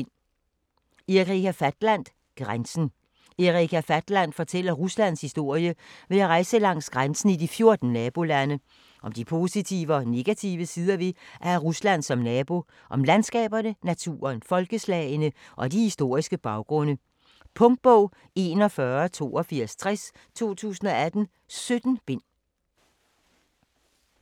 Fatland, Erika: Grænsen Erika Fatland fortæller Ruslands historie ved at rejse langs grænsen i de 14 nabolande. Om de positive og negative sider ved at have Rusland som nabo - og om landskaberne, naturen, folkeslagene og de historiske baggrunde. Punktbog 418260 2018. 17 bind.